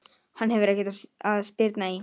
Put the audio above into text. Hann hefur ekkert að spyrna í!